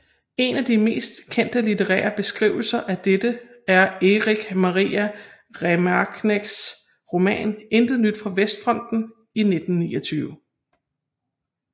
En af de mest kendte litterære beskrivelse af dette er Erich Maria Remarques roman Intet nyt fra Vestfronten i 1929